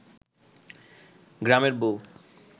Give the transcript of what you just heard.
গ্রামের বউ